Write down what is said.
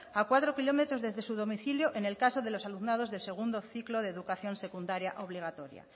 a cuatro kilómetros desde su domicilio en el caso de los alumnados de segundo ciclo de educación secundaria obligatoria